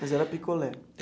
Mas era picolé?